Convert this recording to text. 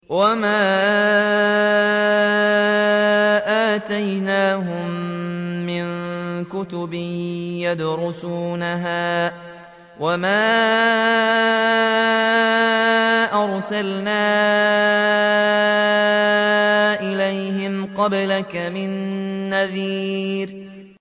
وَمَا آتَيْنَاهُم مِّن كُتُبٍ يَدْرُسُونَهَا ۖ وَمَا أَرْسَلْنَا إِلَيْهِمْ قَبْلَكَ مِن نَّذِيرٍ